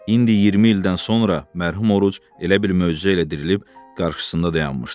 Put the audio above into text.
İndi 20 ildən sonra mərhum Oruc elə bil möcüzə ilə dirilib qarşısında dayanmışdı.